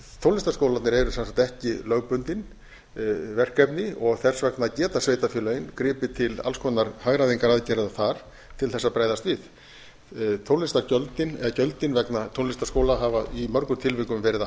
tónlistarskólarnir eru sem sagt ekki lögbundin verkefni þess vegna geta sveitarfélögin gripið til alls konar hagræðingaraðgerða þar til þess að bregðast við gjöldin vegna tónlistarskóla hafa í mörgum tilvikum verið